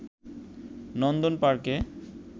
নন্দন পার্কে